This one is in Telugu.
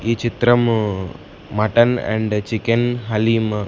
ఈ చిత్రము మటన్ అండ్ చికెన్ హలీం --